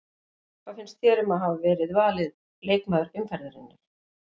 Hvað finnst þér um að hafa verið valin leikmaður umferðarinnar?